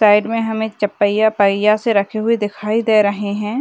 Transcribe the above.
Side में हमें एक चौपाइयां पहिया से रखे हुए दिखाई दे रहे हैं।